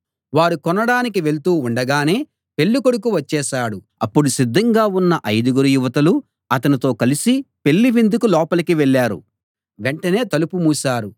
వారు కొనడానికి వెళ్తూ ఉండగానే పెళ్ళికొడుకు వచ్చేశాడు అప్పుడు సిద్ధంగా ఉన్న ఐదుగురు యువతులు అతనితో కలిసి పెళ్ళి విందుకు లోపలికి వెళ్ళారు వెంటనే తలుపు మూశారు